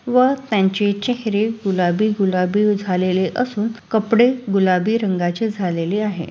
व त्यांचे चेहरे गुलाबी गुलाबी झालेले असून कपडे गुलाबी रंगाचे झालेले आहे.